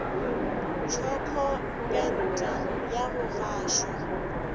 tšhoko pente ya go gašwa